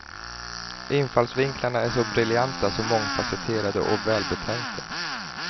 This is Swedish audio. Infallsvinklarna är så briljanta, så mångfacetterade och välbetänkta.